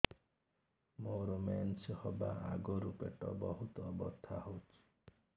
ମୋର ମେନ୍ସେସ ହବା ଆଗରୁ ପେଟ ବହୁତ ବଥା ହଉଚି